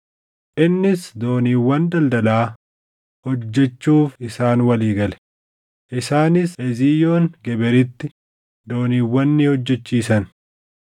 Innis dooniiwwan daldalaa hojjechuuf isaan walii gale; isaanis Eziyoon Geberitti dooniiwwan ni hojjechiisan.